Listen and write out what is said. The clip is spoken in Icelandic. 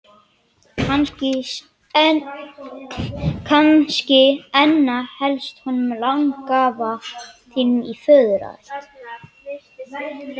Kannski einna helst honum langafa þínum í föðurætt.